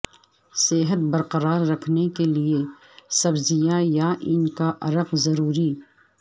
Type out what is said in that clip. صحت برقرار رکھنے کیلئے سبزیاں یا ان کا عرق ضروری